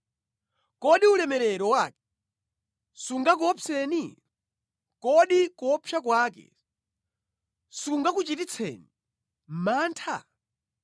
Kodi ulemerero wake sungakuopseni? Kodi kuopsa kwake sikungakuchititseni mantha?